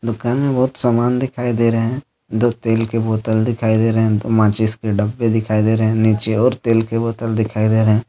दुकान में बहुत समान दिखाई दे रहे हैंदो तेल के बोतल दिखाई दे रहे हैंदो माचिस के डब्बे दिखाई दे रहे हैं नीचे और तेल के बोतल दिखाई दे रहे हैं।